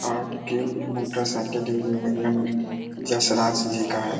आपके motorcycle Yashraj ji का है।